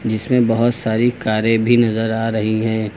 इसमें बहुत सारी कारें भी नजर आ रही हैं।